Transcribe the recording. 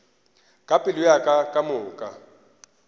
ka pelo ya ka kamoka